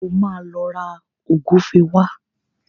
O máa lọ ra ògúfe wá